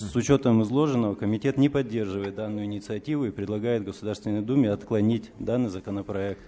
с учётом изложенного комитет не поддерживает данную инициативу и предлагает государственной думе отклонить данный законопроект